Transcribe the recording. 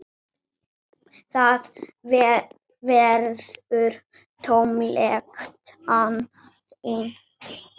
Það verður tómlegt án þín.